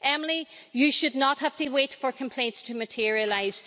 Emily, you should not have to wait for complaints to materialise.